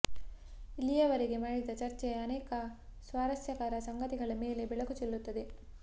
ಇಲ್ಲಿಯವರೆಗೆ ಮಾಡಿದ ಚರ್ಚೆ ಅನೇಕ ಸ್ವಾರಸ್ಯಕರ ಸಂಗತಿಗಳ ಮೇಲೆ ಬೆಳಕು ಚೆಲ್ಲುತ್ತದೆ